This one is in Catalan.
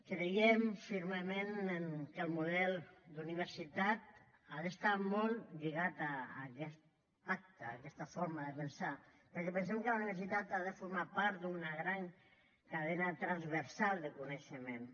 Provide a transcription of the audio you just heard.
creiem fermament que el model d’universitat ha d’estar molt lligat a aquest pacte a aquesta forma de pensar perquè pensem que la universitat ha de formar part d’una gran cadena transversal de coneixements